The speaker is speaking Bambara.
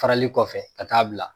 Farali kɔfɛ ka taa bila.